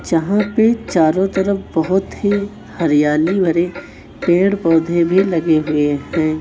यहां पे चारों तरफ बहुत ही हरियाली भरे पेड़ पौधे भी लगे हुए हैं।